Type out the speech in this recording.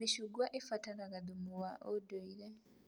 Mĩcungwa ĩbatarga thumu wa ũndũire